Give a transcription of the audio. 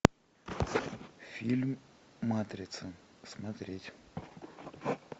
фильм матрица смотреть